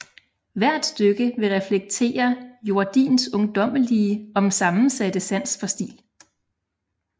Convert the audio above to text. Hvert stykke vil reflektere Jordins ungdommelige om sammensatte sans for stil